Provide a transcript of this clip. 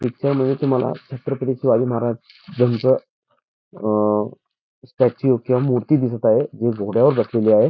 चित्रामध्ये तुम्हाला छत्रपती शिवाजी महाराजांच स्टॅचू किंवा मूर्ती दिसत आहे जी घोड्यावर बसलेली आहे.